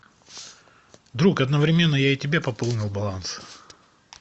друг одновременно я и тебе пополнил баланс